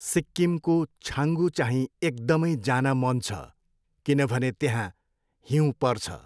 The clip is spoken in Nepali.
सिक्किमको छाङ्गू चाहिँ एक्दमै जान मन छ, किनभने त्यहाँ हिउँ पर्छ।